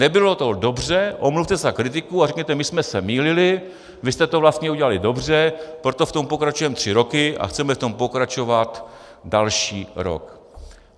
Nebylo to dobře, omluvte se za kritiku a řekněte: My jsme se mýlili, vy jste to vlastně udělali dobře, proto v tom pokračujeme tři roky a chceme v tom pokračovat další rok.